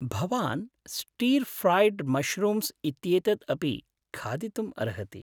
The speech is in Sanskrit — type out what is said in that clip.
भवान् स्टीर् फ़्राइड् मशरूम्स् इत्येतद् अपि खादितुम् अर्हति।